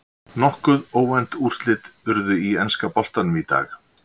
Nokkuð óvænt úrslit urðu í enska boltanum í dag.